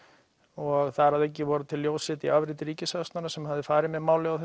og þar að auki voru til ljósrit í afriti hjá ríkissaksóknara sem hafði farið með málið á